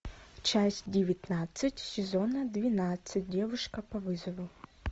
часть девятнадцать сезона двенадцать девушка по вызову